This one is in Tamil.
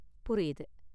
புரியுது.